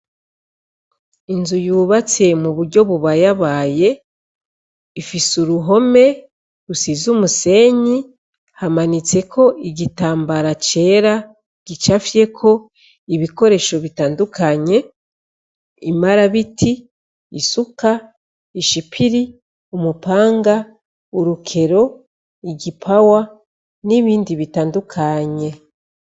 Inzu yubatse mu buryo bubayabaye ifise uruhome rusize umusenyi hamanitseko igitambara cera gicafyeko ibikoresho bitandukanye, imarabiti, isuka, ishipiri, umupanga, urukero, igipawa, n'ibindi bitandukanye.